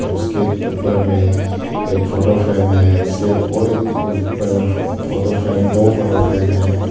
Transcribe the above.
उसके ऊपर में एक फोटो फ्रेम है उसके और ऊपर में फोटो फ्रेम दो फोटो फ्रेम है।